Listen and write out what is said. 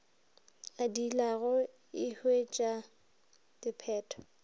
a diilago e huetša diphetho